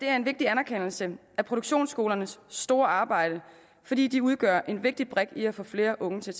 er en vigtig anerkendelse af produktionsskolernes store arbejde fordi de udgør en vigtig brik i at få flere unge til